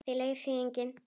Það laug þessu enginn.